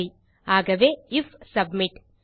சரி ஆகவே IF submit